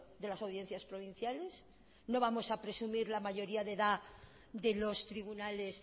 de las audiencias provinciales no vamos a presumir la mayoría de edad de los tribunales